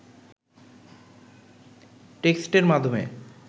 টেক্সটের মাধ্যমে